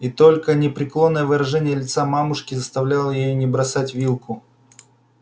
и только непреклонное выражение лица мамушки заставляло её не бросать вилку